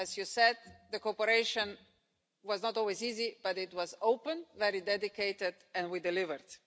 As you said the cooperation was not always easy, but it was open, very dedicated and we delivered.